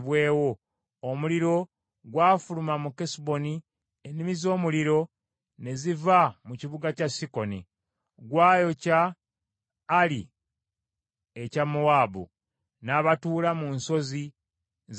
“Omuliro gwafuluma mu Kesuboni, ennimi z’omuliro ne ziva mu kibuga kya Sikoni. Gwayokya Ali ekya Mowaabu, n’abatuula mu nsozi za Alunoni.